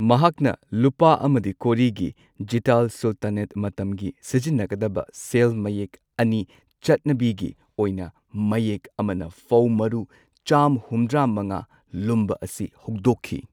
ꯃꯍꯥꯛꯅ ꯂꯨꯄꯥ ꯑꯃꯗꯤ ꯀꯣꯔꯤꯒꯤ ꯖꯤꯇꯥꯜ ꯁꯨꯜꯇꯥꯅꯦꯠ ꯃꯇꯝꯒꯤ ꯁꯤꯖꯤꯟꯅꯒꯗꯕ ꯁꯦꯜ ꯃꯌꯦꯛ ꯑꯅꯤ, ꯆꯠꯅꯕꯤꯒꯤ ꯑꯣꯏꯅ ꯃꯌꯦꯛ ꯑꯃꯅ ꯐꯧ ꯃꯔꯨ ꯆꯥꯝꯃ ꯍꯨꯝꯗ꯭ꯔꯥ ꯃꯉꯥ ꯂꯨꯝꯕ ꯑꯁꯤ ꯍꯧꯗꯣꯛꯈꯤ꯫